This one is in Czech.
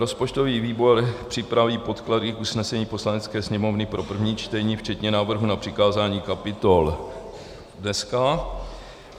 Rozpočtový výbor připraví podklady k usnesení Poslanecké sněmovny pro první čtení včetně návrhu na přikázání kapitol dnes.